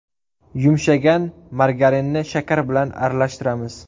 Yumshagan margarinni shakar bilan aralashtiramiz.